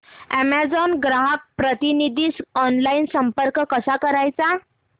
Amazon ग्राहक प्रतिनिधीस online संपर्क कसा करायचा